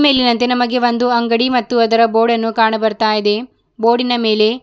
ಇಲ್ಲಿನಂತೆ ನಮಗೆ ಒಂದು ಅಂಗಡಿ ಮತ್ತು ಅದರ ಬೋರ್ಡನ್ನು ಕಾಣಬರುತ್ತಾಯಿದೆ ಬೋರ್ಡಿನ ಮೇಲೆ --